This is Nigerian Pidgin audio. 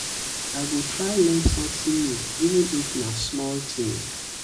i go try learn learn sometin new even if na small tin.